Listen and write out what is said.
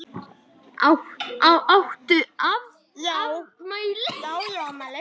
Áttu afmæli?